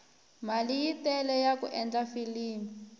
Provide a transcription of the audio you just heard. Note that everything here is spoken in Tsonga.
mali yi tele yaku endla filimi